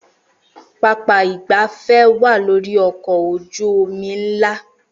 Pápá ìgbafẹ́ wá lórí ọkọ̀ ojú omi ńlá